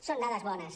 són dades bones